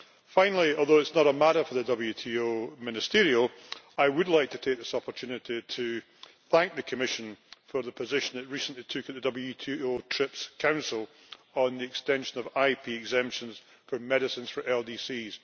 Finally, although it is not a matter for the WTO Ministerial Conference, I would like to take this opportunity to thank the Commission for the position it recently took at the WTO TRIPS Council on the extension of IP exemptions for medicines for LDCs.